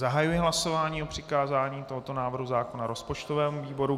Zahajuji hlasování o přikázání tohoto návrhu zákona rozpočtovému výboru.